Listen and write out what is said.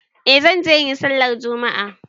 Eh zan je in yi sallar juma'a.